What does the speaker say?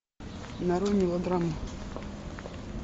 нарой мелодраму